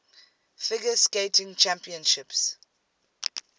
figure skating championships